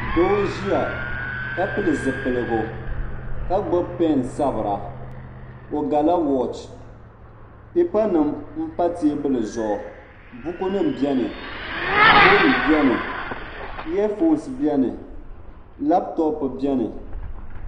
Doo n ʒia ka pili zipiligu ka gbibi peni n sabira o gala woochi pipa nima m pa teebuli zuɣu buku nima biɛni fooni biɛni iya fooni biɛni laaputopu biɛni